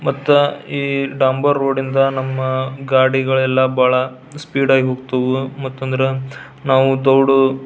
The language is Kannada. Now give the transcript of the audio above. ಮತ್ತ ಈ ಡಾಂಬರ್ ರೋಡ್ ಇಂದ ನಮ್ಮ ಗಾಡಿಗಳೆಲ್ಲ ಬಹಳ ಸ್ಪೀಡ್ ಆಗಿ ಹೋಗ್ತವು ಮತ್ತಂದ್ರ ನಾವು ದೌಡ್ --